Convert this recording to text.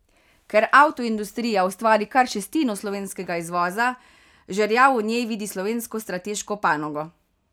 Ker avtoindustrija ustvari kar šestino slovenskega izvoza, Žerjav v njej vidi slovensko strateško panogo.